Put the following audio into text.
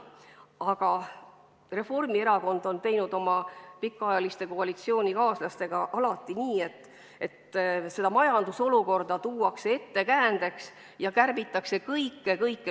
Aga Reformierakond on oma pikaajaliste koalitsioonikaaslastega alati teinud nii, et majandusolukorda ettekäändeks tuues kärbitakse kõike-kõike.